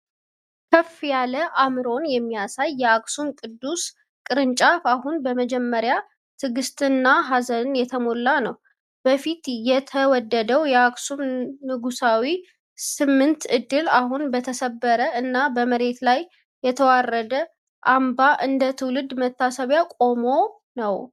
ከፍ ያለ አእምሮን የሚያሳየው የአክሱም ቅዱስ ቅርንጫፍ አሁን በመጀመሪያ ትዕግስት እና ሀዘን የተሞላ ነው። በፊት የተወደደው የአክሱም ንጉሳዊ ስምንት ዕድል አሁን በተሰበረ እና በመሬት ላይ የተወረደ አምባ እንደ ትውልድ መታሰቢያ ቆሞ ነው።